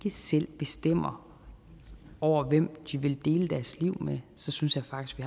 selv bestemmer over hvem de vil dele deres liv med så synes jeg faktisk